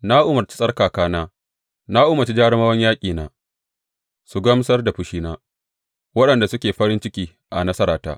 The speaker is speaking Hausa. Na umarci tsarkakana; na umarci jarumawan yaƙina su gamsar da fushina, waɗanda suke farin ciki a nasarata.